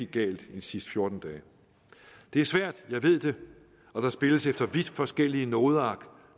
galt i de sidste fjorten dage det er svært jeg ved det og der spilles efter vidt forskellige nodeark